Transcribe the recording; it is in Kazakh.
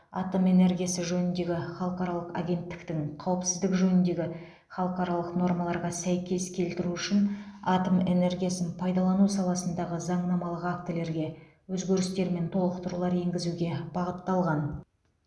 атом энергиясы жөніндегі халықаралық агенттіктің қауіпсіздік жөніндегі халықаралық нормаларға сәйкес келтіру үшін атом энергиясын пайдалану саласындағы заңнамалық актілерге өзгерістер мен толықтырулар енгізуге бағытталған